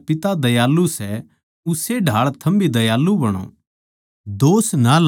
जिसा थारा पिता दयालु सै उस्से ए ढाळ थम भी दयालु बणो